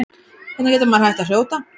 Hvernig getur maður hætt að hrjóta?